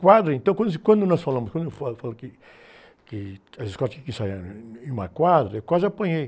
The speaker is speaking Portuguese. Quadra, então, quando se, quando nós falamos, quando eu falo, falo que, que as escolas tinham que ensaiar em uma quadra, eu quase apanhei.